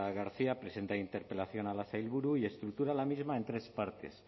garcia presenta interpelación a la sailburu y estructura la misma en tres partes